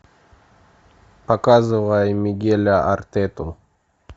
показывай мигеля артету